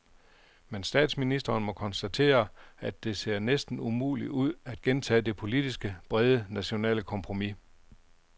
Men statsministeren må konstatere, at det ser næsten umuligt ud at gentage det politisk brede nationale kompromis.